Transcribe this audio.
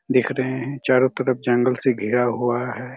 दिख रहे है चारों तरफ जंगल से घिरा हुआ हैं।